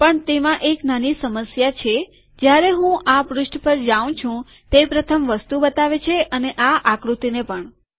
પણ તેમાં એક નાની સમસ્યા છે કે જયારે હું આ પુષ્ઠ પર જાઉં છું તે પ્રથમ વસ્તુ બતાવે છે અને આ આકૃતિને પણ